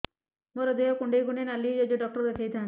ମୋର ଦେହ କୁଣ୍ଡେଇ କୁଣ୍ଡେଇ ନାଲି ହୋଇଯାଉଛି ଡକ୍ଟର ଦେଖାଇ ଥାଆନ୍ତି